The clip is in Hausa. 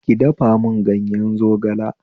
Ki dafa mun ganye zogala